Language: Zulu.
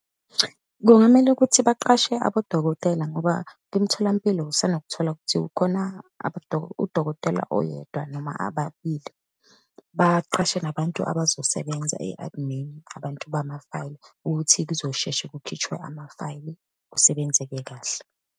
Kungamele ukuthi baqashe abodokotela, ngoba kwimtholampilo usanokuthola kuthiwa khona udokotela oyedwa noma ababili. Baqashe nabantu abazosebenza e-admin, abantu bamafayili ukuthi kuzosheshe kukhitshwe amafayili, kusebenzeke kahle.